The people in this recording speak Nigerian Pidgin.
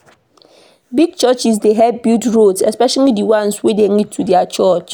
Big churches dey help build roads especially di ones wey dey lead to their church.